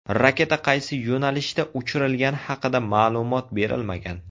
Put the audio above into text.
Raketa qaysi yo‘nalishda uchirilgani haqida ma’lumot berilmagan.